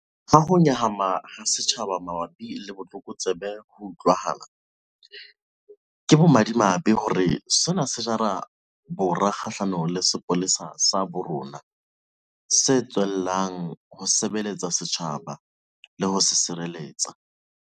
Ha ho nyahama ha setjhaba mabapi le botlokotsebe ho utlwahala, ke bomadimabe hore sena se jala bora kgahlanong le sepolesa sa bo rona, se tswellang ho sebeletsa setjhaba le ho se sireletsa.